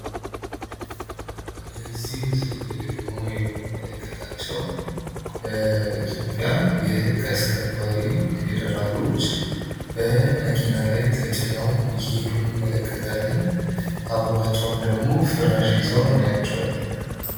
እዚህ ምስል ላይ ደሞ የምንመለከታቸው የኢትዮጽያ የህግ አስከባሪ ፌደራሎች በመኪና ላይ ተጭነው እየሄዱ እንመለከታለን። አብራቸውም ደሞ ፍራሽ ይዘው እናያቸዋለን።